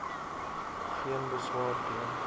geen beswaar teen